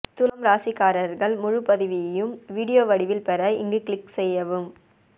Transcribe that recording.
துலாம் ராசிக்காரர்கள் முழுபதிவையும் வீடியோ வடிவில் பெற இங்கு க்ளிக் செய்யவும்